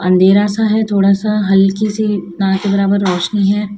अंधेरा सा है थोड़ा सा हल्की सी ना के बराबर रोशनी है।